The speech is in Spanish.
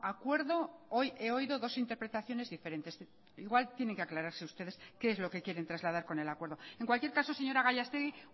acuerdo hoy he oído dos interpretaciones diferentes igual tienen que aclararse ustedes qué es lo que quieren trasladar con el acuerdo en cualquier caso señora gallastegui